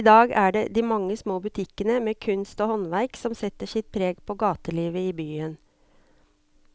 I dag er det de mange små butikkene med kunst og håndverk som setter sitt preg på gatelivet i byen.